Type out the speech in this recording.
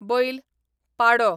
बैल, पाडो